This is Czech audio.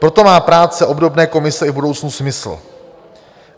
Proto má práce obdobné komise i v budoucnu smysl.